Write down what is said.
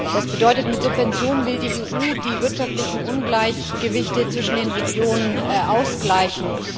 Das bedeutet Mit Subventionen will die EU die wirtschaftlichen Ungleichgewichte zwischen den Regionen ausgleichen.